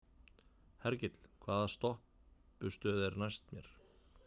Hergill, hvaða stoppistöð er næst mér?